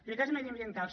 prioritats mediambientals